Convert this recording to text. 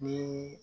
Ni